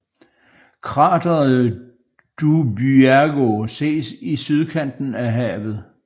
Krateret Dubyago ses i sydkanten af havet